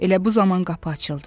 Elə bu zaman qapı açıldı.